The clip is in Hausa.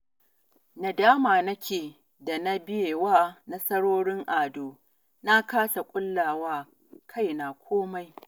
Nadama nake da na biye wa nasarorin Ado, na kasa ƙulla wa kaina komai